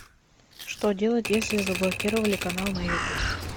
что делать если заблокировали канал на ютуб